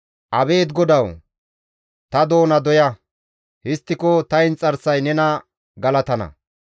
Abeet Godawu! Ta doona doya; histtiko ta inxarsay nena galatana.